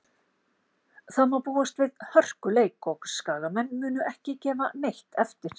Það má búast við hörkuleik og Skagamenn munu ekki gefa neitt eftir.